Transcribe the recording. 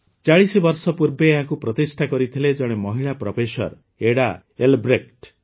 ୪୦ ବର୍ଷ ପୂର୍ବେ ଏହାକୁ ପ୍ରତିଷ୍ଠା କରିଥିଲେ ଜଣେ ମହିଳା ପ୍ରଫେସର ଏଡା ଏଲବ୍ରେକ୍ଟ